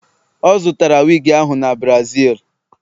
o zụtara wigi ahụ n' Brazil